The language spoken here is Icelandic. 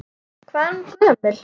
Hvað er hún gömul?